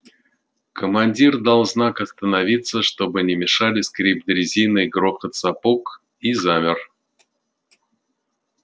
командир дал знак остановиться чтобы не мешали скрип дрезины и грохот сапог и замер